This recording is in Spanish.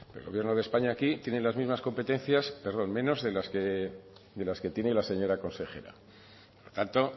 pero el gobierno de españa aquí tiene las mismas competencias perdón menos de las que tiene la señora consejera por tanto